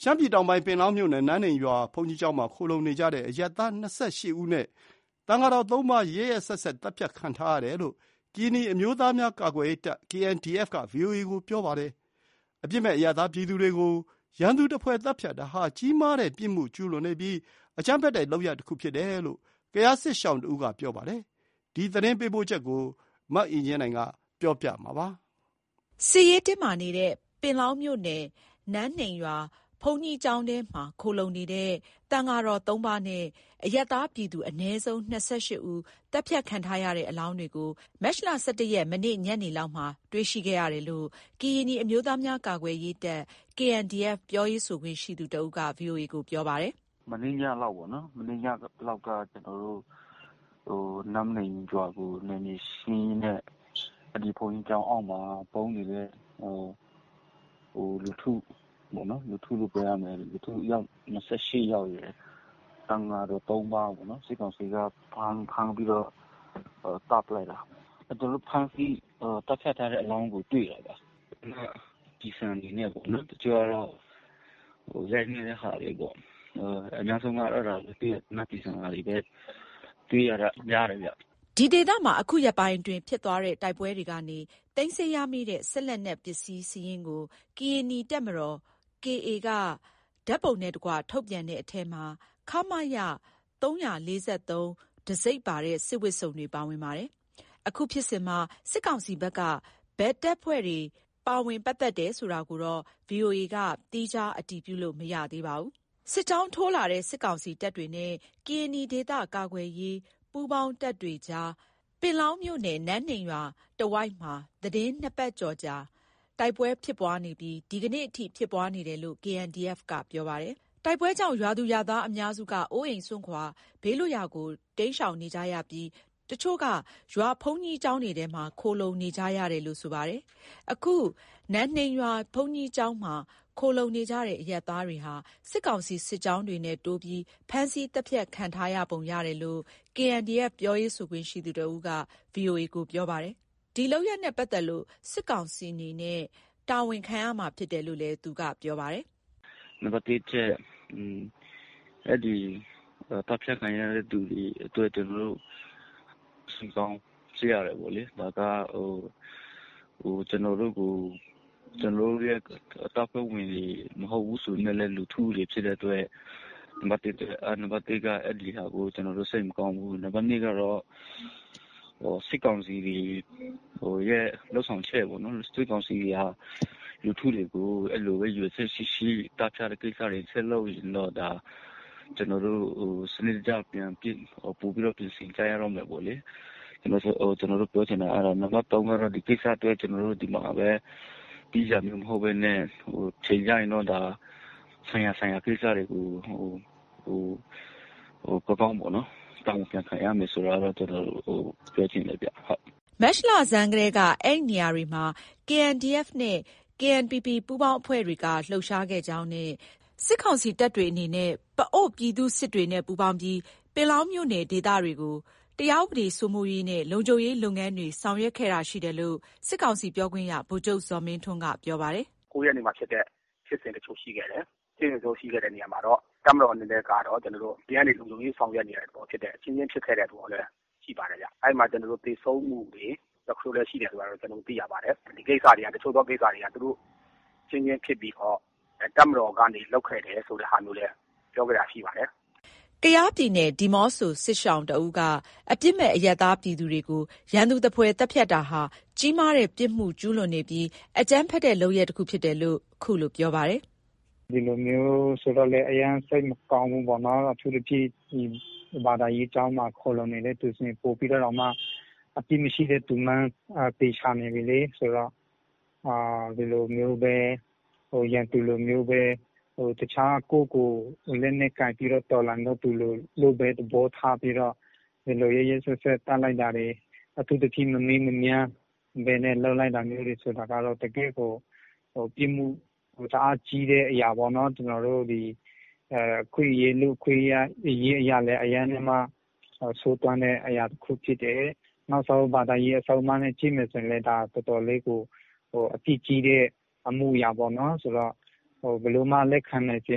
ရှမ်းပြည်တောင်ပိုင်း၊ ပင်လောင်းမြို့နယ်၊ နမ်းနိမ်းရွာ ဘုန်းကြီးကျောင်းမှာ ခိုလှုံနေကြတဲ့ အရပ်သား ၂၈ ဦးနဲ့ သံဃာတော် ၃ ပါး ရက်ရက်စက်စက် သတ်ဖြတ်ခံထားရတယ်လို့ ကရင်နီအမျိုးသားများ ကာကွယ်ရေးတပ် က VOA ကို ပြောပါတယ်။ အပြစ်မဲ့ အရပ်သားပြည်သူတွေကို ရန်သူသဖွယ်သတ်ဖြတ်တာဟာ ကြီးမားတဲ့ပြစ်မှုကျူးလွန်တာမျိုးဖြစ်ပြီး အကြမ်းဖက်တဲ့လုပ်ရပ်လည်းဖြစ်တယ်လို့ ကယားစစ်ရှောင်တဦးက ပြောပါတယ်။ ဒီသတင်းပေးပို့ချက်ကို အခြေခံပြီး မအင်ကြင်းနိုင်က တင်ပြပေးထားပါတယ်။ စစ်ရေးတင်းမာနေတဲ့ ပင်လောင်းမြို့နယ် နမ်းနိမ်းရွာဘုန်းကြီးကျောင်းထဲမှာ ခိုလှုံနေတဲ့ သံဃာတော် ၃ ပါးနဲ့ အရပ်သားပြည်သူ ၂၈ ဦး သတ်ဖြတ်ခံထားရတဲ့အလောင်းတွေကို မတ်လ ၁၁ ရက် ညနေလောက်မှာတွေ့ရှိရတယ်လို့ ကရင်နီအမျိုးသားများ ကာကွယ်ရေးတပ် ပြောရေးဆိုခွင့်ရှိသူတဦးက VOA ကို ပြောပါတယ်။ "မနေ့ညလောက်က ကျနော်တို့ နမ်းနိမ်းရွာကို နယ်မြေရှင်းရင်းနဲ့ အဲ့ဒီဘုန်းကြီးကျောင်းအောက်မှာ ပုန်းနေတဲ့လူထုပေါ့နော်။ လူထုလို့ပြောရမယ်၊ အယောက် ၂၈ ယောက်ရယ်၊ သံဃာတော် ၃ ပါးပေါ့နော်၊ စစ်ကောင်စီက ဖမ်းပြီးတော့ သတ်ပစ်လိုက်တာ။ သတ်ဖြတ်ထားတဲ့အလောင်းတွေကို တွေ့တယ်ဗျ ဟုတ်။ သေနတ်ကျည်ဆံတွေနဲ့ပေါ့နော်။ တချို့ကတော့ ရိုက်နှက်တဲ့ဟာတွေ ပေါ့နော်။ အများဆုံးကတော့ သေနတ်ကျည်ဆံဒဏ်ရာတွေပဲ များတယ်ပေါ့။" ဒီဒေသမှာ အခုရက်ပိုင်းဖြစ်ခဲ့တဲ့တိုက်ပွဲတွေကနေ သိမ်းဆည်းရမိတဲ့စစ်လက်နက် ပစ္စည်းစာရင်းကို ကရင်နီတပ်မတော် က ဓါတ်ပုံနဲ့တကွထုတ်ပြန်တဲ့အထဲမှာ ခမရ ၃၄၃ တံဆိပ်ပါတဲ့ စစ်ဝတ်စုံတွေ ပါဝင်ပါတယ်။ အခုဖြစ်စဉ်မှာ စစ်ကောင်စီဘက်က ဘယ်တပ်ဖွဲ့တွေ ပါဝင်ပတ်သက်တယ်ဆိုတာကိုတော့ ဗွီအိုအေက သီးခြား အတည်ပြုလို့ မရသေးပါဘူး။ စစ်ကြောင်းထိုးလာတဲ့ စစ်ကောင်စီတပ်တွေနဲ့ ကရင်နီဒေသကာကွယ်ရေး ပူးပေါင်းတပ်တွေကြား ပင်လောင်းမြို့နယ်၊ နမ်းနိမ်းကျေးရွာတဝိုက်မှာ သီတင်းနှစ်ပတ်ကျော်ကြာ တိုက်ပွဲဖြစ်ပွားနေပြီး ဒီနေ့အထိ ဖြစ်ပွားနေတယ်လို့ KNDF က ပြောပါတယ်။ တိုက်ပွဲကြောင့် ရွာသူရွာသားအများစုက အိုးအိမ်စွန့်ခွာ ဘေးလွတ်ရာကို တိမ်းရှောင်နေကြပြီး တချို့က ရွာဘုန်းကြီးကျောင်းထဲမှာ ခိုလှုံနေကြတာလို့ ဆိုပါတယ်။ အခု နမ်းနိမ်းရွာဘုန်းကြီးကျောင်းမှာ ခိုလှုံနေကြတဲ့အရပ်သားတွေဟာ စစ်ကောင်စီ စစ်ကြောင်းတွေနဲ့တိုးပြီး ဖမ်းဆီးသတ်ဖြတ်ခံထားပုံရတယ်လို့ KNDF ပြောရေးဆိုခွင့်ရှိသူတဦးက VOA ကို ပြောပါတယ်။ ဒီလုပ်ရပ်နဲ့ ပတ်သက်လို့ စစ်ကောင်စီအနေနဲ့ ထိုက်တန်တဲ့ပြစ်ဒဏ် ခံယူရမယ်လို့ ပြောပါတယ်။ " အဲ့ဒီသတ်ဖြတ်ခံရတဲ့သူတွေအတွက် ကျနော်တို့ စိတ်မကောင်းဖြစ်ရတယ်ပေါ့လေ။ ဒါ ကျနော်တပ်ဖွဲ့ဝင်မဟုတ်ဘူးဆိုပေမယ့်လည်း လူထုဖြစ်တဲ့အတွက် နံပါတ် က အဲ့ဒီဟာကို စိတ်မကောင်းဘူး။ နံပါတ် ကတော့ စစ်ကောင်စီတွေရဲ့ လုပ်ဆောင်ချက်ပေါ့နော်။ စစ်ကောင်စီဟာ လူထုတွေကိုပဲရည်ရွယ်ချက်ရှိရှိ သတ်ဖြတ်တဲ့ကိစ္စ ဆက်လုပ်ရင်တော့ ကျနော်တို့ စနစ်တကျ ပိုပြီးတော့ ပြင်ဆင်ကြတော့မယ်ပေါ့လေ။ ကျနော်တို့ပြောချင်တာ အဲ့ဒါ။ နံပါတ် ကတော့ ဒီကိစ္စအတွက် ကျနော် ဒီမှာပဲ ပြီးတာမျိုးမဟုတ်ဘဲနဲ့ အချိန်ကျရင်တော့ ဒါ ဆိုင်ရာ၊ ဆိုင်ရာ ကိစ္စတွေကို ကောင်းကောင်းပေါ့နော် တာဝန်ပြန်ခံကြရမယ်ဆိုတာ ပြောချင်တယ်ဗျ" မတ်လဆန်းကတည်းက အဲ့နေရာတွေမှာ KNDF နဲ့ KNPP ပူးပေါင်းအဖွဲ့တွေက လှုပ်ရှားခဲ့ကြောင်းနဲ့ စစ်ကောင်စီတပ်တွေအနေနဲ့ ပအို့ဝ်ပြည်သူ့စစ်၊ ပြည်သူတွေနဲ့ ပူးပေါင်းပြီး ပင်လောင်းမြို့နယ်ဒေသတွေကို တရားဥပဒေစိုးမိုးရေးနဲ့ လုံခြုံရေးလုပ်ငန်းတွေ ဆောင်ရွယ်ခဲ့တာရှိတယ်လို့ စစ်ကောင်စီ ပြောခွင့်ရ ဗိုလ်ချုပ်ဇော်မင်းထွန်းက ပြောပါတယ်။ “၉ ရက်နေ့မှာဖြစ်တဲ့ ဖြစ်စဉ်တချို့ ရှိခဲ့တယ်။ တပ်မတော်အနေနဲ့ကတော့ အပြင်ကနေ လုံခြုံရေးဆောင်ရွက်နေတာပဲ ဖြစ်တယ်။ အချင်းချင်းဖြစ်ခဲ့တဲ့ပုံစံ ရှိပါတယ်ဗျ။ အဲဒီမှာ သေဆုံးမှုတချို့လည်း ရှိတယ်ဆိုတာတော့ ကျနော်တို့သိရပါတယ်။ တချို့သောကိစ္စတွေက သူတို့အချင်းချင်းဖြစ်ပြီးတော့ တပ်မတော်ကနေလုပ်ခဲ့တယ်ဆိုတဲ့ဟာမျိုးလည်း ပြောခဲ့တာရှိပါတယ်။” ကယားပြည်နယ်၊ ဒီးမော့ဆိုစစ်ရှောင်တဦးက အပြစ်မဲ့အရပ်သားပြည်သူတွေကို ရန်သူသဖွယ်သတ်ဖြတ်တာဟာ ကြီးမားတဲ့ပြစ်မှုကျူးလွန်နေတာဖြစ်ပြီး အကြမ်းဖက်တဲ့လုပ်ရပ်တခုဖြစ်တယ်လို့ ခုလို ပြောပါတယ်။ "ဒီလိုမျိုးဆို အရမ်း စိတ်မကောင်းဘူးပေါ့နော်။ အထူးသဖြင့် ဒီဘာသာရေးကျောင်းတွေမှာ ခိုလှုံနေတဲ့သူဆိုရင် ပိုပြီးတောင်မှ အပြစ်မရှိတဲ့သူမှန်းသေချာနေပြီလေ။ ဆိုတော့ ဒီလိုမျိုး ရန်သူလိုမျိုးပဲ တခြားကိုယ့်ကိုလက်နက်ကိုင်ပြီးတော့ တော်လှန်နေတဲ့သူလို့ပဲ သဘောထားပြီးတော့ ဒီလို ရက်ရက်စက်စက် သတ်လိုက်တာတွေ၊ အထူးသဖြင့် မမေးမမြန်း လုပ်လိုက်တာမျိုးပဲဆိုတာကတော့ တကယ့်ကို ပြစ်မှု တအားကြီးတဲ့အရာပေါ့နော်။ ကျနော်တို့လူ့အခွင့်အရေး အရမ်းဆိုးဝါးတဲ့အရာတခု ဖြစ်တယ်။ နောက်ဆုံး ဘာသာရေးအဆုံးအမနဲ့ ကြည့်မယ်ဆိုလည်း ဒါတော်တော်လေးကို အပြစ်ကြီးတဲ့အမှုအရာပေါ့နော်။ ဘယ်လိုမှ လက်ခံနိုင်စ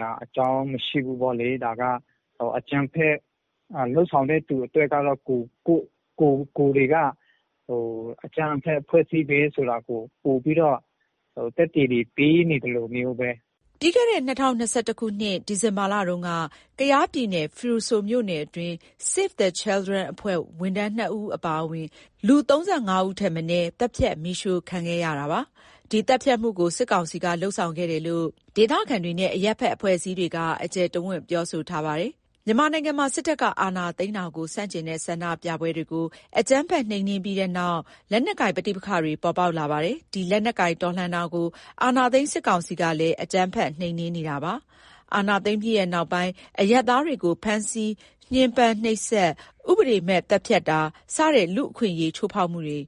ရာအကြောင်း မရှိဘူးပေါ့လေ။ ဒါကအကြမ်းဖက် လုပ်ဆောင်တဲ့သူအတွက်က ကိုယ်တွေက အကြမ်းဖက်အဖွဲ့အစည်းပဲဆိုတာကို ပိုပြီး သက်သေတွေ ပေးနေသလိုမျိုးပဲ။" ပြီးခဲ့တဲ့ ၂၀၂၁ ခုနှစ် ဒီဇင်ဘာလတုန်းက ကယားပြည်နယ် ဖရူဆိုမြို့နယ်တွင်း Save the Children အဖွဲ့ဝန်ထမ်း ၂ ဦး အပါအဝင် လူ ၃၅ ဦးထက်မနည်း သတ်ဖြတ် မီးရှို့ခံလိုက်ရပါတယ်။ ဒီသတ်ဖြတ်မှုကို စစ်ကောင်စီကလုပ်ခဲ့တယ်လို့ ဒေသခံတွေနဲ့ အရပ်ဘက်အဖွဲ့အစည်းတွေက တကျယ်တဝံ့ ပြောဆိုထားပါတယ်။ မြန်မာနိုင်ငံမှာ စစ်တပ်ကအာဏာသိမ်းတာကို ဆန့်ကျင်တဲ့ဆန္ဒပြပွဲတွေကို အကြမ်းဖက်နှိမ်နင်းပြီးနောက် လက်နက်ကိုင်ပဋိပက္ခတွေ ပေါ်ပေါက်လာပါတယ်။ ဒီလက်နက်ကိုင်တော်လှန်တာကို အာဏာသိမ်းစစ်ကောင်စီကလည်း အကြမ်းဖက် နှိမ်နင်းနေတာပါ။ အာဏာသိမ်းပြီးနောက်ပိုင်း အရပ်သားတွေကို ဖမ်းဆီးတာ၊ ညှင်းပန်းနှိပ်စက်တာ၊ ဥပဒေမဲ့သတ်ဖြတ်တာ စတဲ့လူ့အခွင့်အရေးချိုးဖောက်မှုတွေ